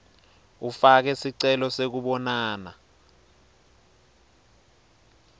ufake sicelo sekubonana